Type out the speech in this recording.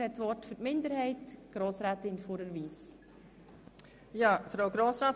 Für Artikel 22 gebe ich Grossrätin Fuhrer das Wort.